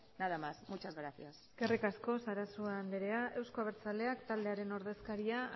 nada más muchas gracias eskerrik asko sarasua anderea euzko abertzaleak taldearen ordezkaria